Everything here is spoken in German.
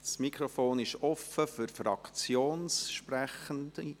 Das Mikrofon ist offen für Fraktionssprechende.